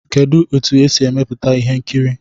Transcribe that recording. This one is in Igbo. Kedụ etu e si emepụta ihe nkiri?